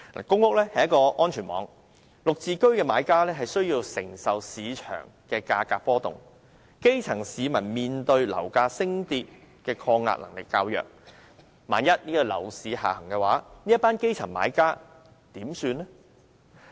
公屋是安全網，"綠置居"的買家需要承受市場價格波動，基層市民面對樓價升跌的抗逆能力較弱，萬一樓市下行，這群基層買家如何是好？